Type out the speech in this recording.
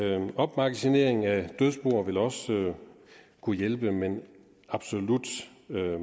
opmagasinering af dødsboer vil også kunne hjælpe men absolut